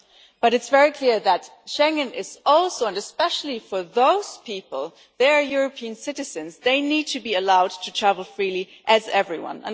But it is very clear that Schengen is also and especially for those people they are European citizens, they need to be allowed to travel freely like everyone.